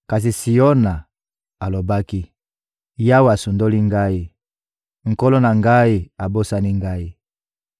Kasi Siona alobaki: «Yawe asundoli ngai, Nkolo na ngai abosani ngai!»